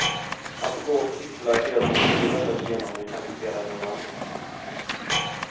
Att gå och cykla är helt ute i detta genommekaniserade land.